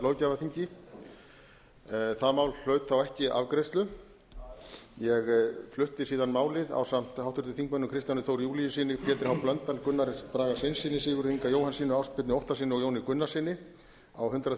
löggjafarþingi það mál hlaut þá ekki afgreiðslu ég flutti síðan málið ásamt háttvirtum þingmönnum kristjáni þór júlíussyni pétri h blöndal gunnari braga sveinssyni sigurði inga jóhannssyni og ásbirni óttarssyni og jóni gunnarssyni á hundrað